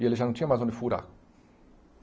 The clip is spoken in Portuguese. E ele já não tinha mais onde furar.